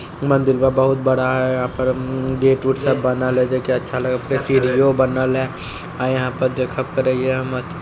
मंदिर बा बहुत बड़ा है यहाँ पर उम्म गेट उट सब बनल है जे कि अच्छा लगय फेर सीढ़ियों बनल है अ यहाँ पर देखब करय हिये हम।